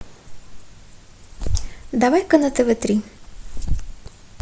давай ка на тв три